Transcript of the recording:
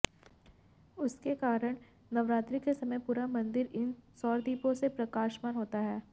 उसके कारण नवरात्रि के समय पूरा मंदिर इन सौरदीपों से प्रकाशमान होता है